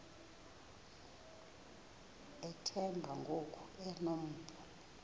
uthemba ngoku enompu